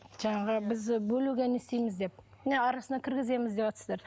жаңағы біз бөлуге не істейміз деп міне арасына кіргіземіз деватсыздар